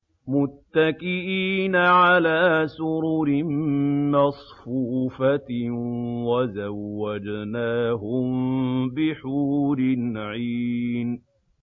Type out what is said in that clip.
مُتَّكِئِينَ عَلَىٰ سُرُرٍ مَّصْفُوفَةٍ ۖ وَزَوَّجْنَاهُم بِحُورٍ عِينٍ